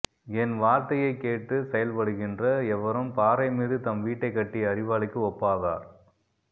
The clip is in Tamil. என் வார்த்தையை கேட்டு செயல்படுகின்ற எவரும் பாறை மீது தம் வீட்டைக் கட்டிய அறிவாளிக்கு ஒப்பாவார்